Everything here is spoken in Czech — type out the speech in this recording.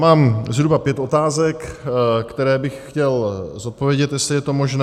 Mám zhruba pět otázek, které bych chtěl zodpovědět, jestli je to možné.